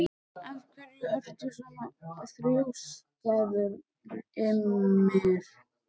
Af hverju ertu svona þrjóskur, Ymir?